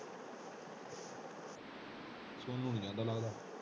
ਹੈਂ?